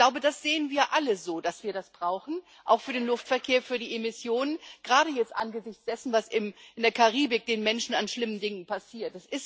Ich glaube, das sehen wir alle so, dass wir das brauchen auch für den Luftverkehr, für die Emissionen gerade jetzt angesichts dessen, was in der Karibik den Menschen an schlimmen Dingen passiert.